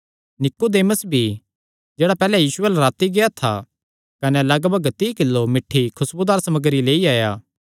नीकुदेमुस भी जेह्ड़ा पैहल्ले यीशु अल्ल राती गेआ था कने लगभग तीई किलो मिठ्ठी खुसबुदार सम्रगी लेई आया